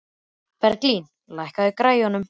Berglín, lækkaðu í græjunum.